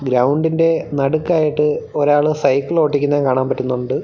ഗ്രൗണ്ടിന്റെ നടുക്കായിട്ട് ഒരാള് സൈക്കിൾ ഓടിക്കുന്നത് കാണാൻ പറ്റുന്നുണ്ട്.